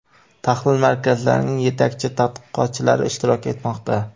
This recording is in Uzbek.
tahlil markazlarining yetakchi tadqiqotchilari ishtirok etmoqda.